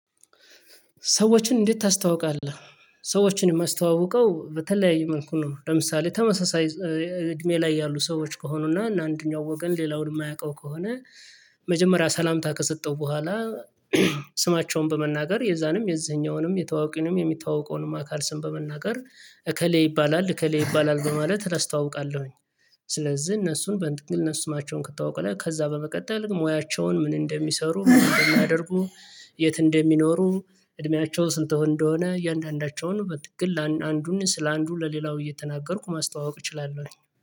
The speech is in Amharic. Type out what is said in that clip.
ሰዎችን እንዴት ታስተዋውቃለህ? ሰዎችን እማስተዋውቀው በተለያዩ መልኩ ነው ለምሳሌ ተመሳሳይ እድሜ ላይ ያሉ ሰዎች ከሆኑና አንደኛው ወገን ሌላውን የማያውቀው ከሆነ መጀመሪያ ሰላምታ ከሰጠው በኋላ ስማቸውን በመናገር የዛንም የዝህኛውንም የተዋወቅንም የሚታወቀውንም አካል ስም በመናገር እከሌ ይባላል እከሌ ይባላል በማለት እረስታውቃለሁኝ። ስለዝህ እነሱን በእንትግል እነ ስማቸውን ከተዋወቁ ከዛ በመቀጠል ሙያቸውን ምን እንደሚሰሩ እንደሚያደርጉ። የት እንደሚኖሩ። እድሜያቸው ስንት ሆኖ እንደሆነ እያንዳንዳቸውን በትክክል ለአንዱን ስለአንዱ ለሌላው እየተናገርኩ ማስተዋወቅ እችላለሁ